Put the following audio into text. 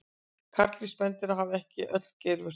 Karldýr spendýra hafa ekki öll geirvörtur.